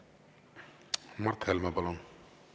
Mart Helme, palun!